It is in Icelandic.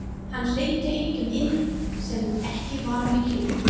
Hann hleypti engum inn sem ekki var með gjöf.